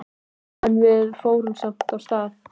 En við fórum samt af stað.